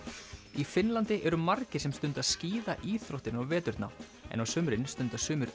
í Finnlandi eru margir sem stunda skíðaíþróttina á veturna en á sumrin stunda sumir